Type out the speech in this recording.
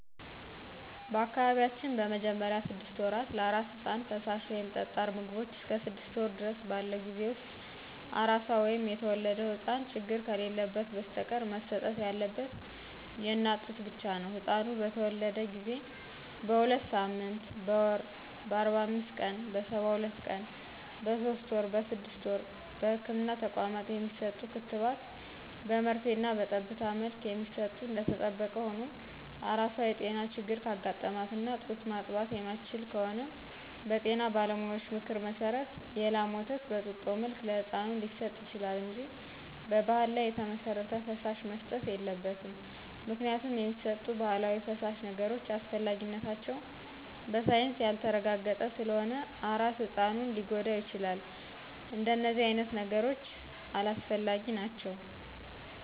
በአካባቢያችን በመጀመሪያ ስድስት ወራት ለአራስ ህጻን ፈሳሽ ወይም ጠጣር ምግቦቾ እስከ ስድስት ወር ድረስ ባለው ጊዜ ውስጥ አራሷ ወይም የተወለደው ህጻን ችግር ከሌለበት በስተቀር መሰጠት ያለበት የእናት ጡት ብቻ ነው። ህጻኑ በተተወለደ ጊዜ: በሁለትሳምንት: በወር :በአርባአምስት ቀን :በሰባሁለት ቀን በሶስት ወር: በስድስት ወር በህክምና ተቋማት የሚሰጡ ክትባት በመርፌና በጠብታ መልክ የሚሰጡ እደተጠበቀ ሁኖ አራሷ የጤና ችግር ካጋጠማትና ጡት ማጥባት የማትችል ከሆነች በጤና ባለሙያዎች ምክር መሰረት የላም ወተት በጡጦ መልክ ለህጻኑ ሊሰጥ ይችላል እንጂ በባህል ላይ የተመሰረተ ፈሳሽ መሰጠት የለበትም ምክንያቱም የሚሰጡት ባህላዊ ፈሳሽ ነገሮች አስፈላጊነታቸው በሳይንስ ያልተረጋገጠ ስለሆነ አራስ ህጻኑን ሊጎዳው ይችላል እደነዚህ አይነት ነገሮች አላስፈላጊ ናቸው።